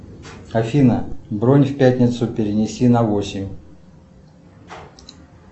афина бронь в пятницу перенеси на восемь